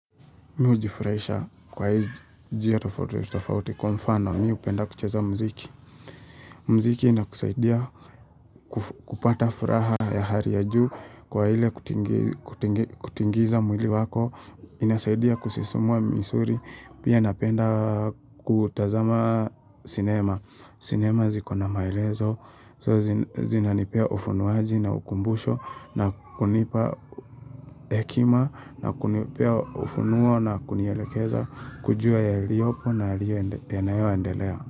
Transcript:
Mi hujifurahisha kwa hii njia tofauti tofauti kwa mfano mi hupenda kucheza mziki. Mziki inakusaidia kupata furaha ya hali ya juu kwa hile kutingiza mwili wako. Inasaidia kusisumua misuli. Pia napenda kutazama cinema. Cinema zikona maelezo. Zina nipea ufunuwaji na ukumbusho na kunipa hekima na kunipea ufunuo na kunielekeza. Kujua yaliyopo na yaiyo yanayoendelea.